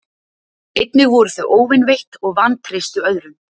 Einnig voru þau óvinveitt og vantreystu öðrum.